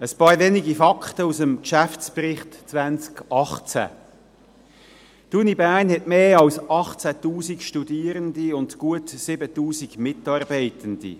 Ein paar wenige Fakten aus dem Geschäftsbericht 2018: Die Universität Bern hat mehr als 18 000 Studierende und gut 7000 Mitarbeitende.